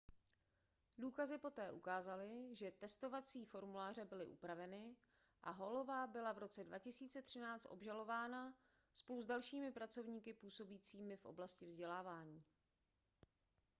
důkazy poté ukázaly že testovací formuláře byly upraveny a hallová byla v roce 2013 obžalována spolu s dalšími pracovníky působícími v oblasti vzdělávání